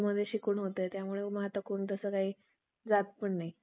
जात पण नाही